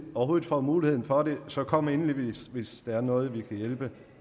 overhovedet får mulighed for det så kom endelig hvis der er noget vi kan hjælpe